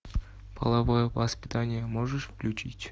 половое воспитание можешь включить